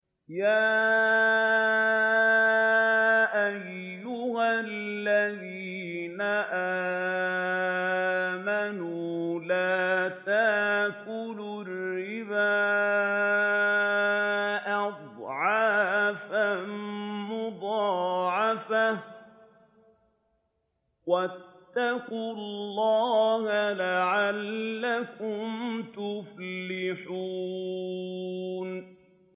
يَا أَيُّهَا الَّذِينَ آمَنُوا لَا تَأْكُلُوا الرِّبَا أَضْعَافًا مُّضَاعَفَةً ۖ وَاتَّقُوا اللَّهَ لَعَلَّكُمْ تُفْلِحُونَ